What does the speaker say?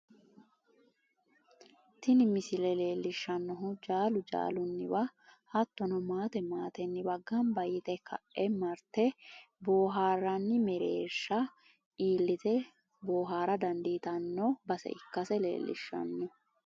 tini misile leellishshannohu jaalu jaalunniwa hattono maate maatenniwa ganba yite ka'e marte boohaarranni mereersha iillite boohaara dandiitnno base ikkase leellishshanno.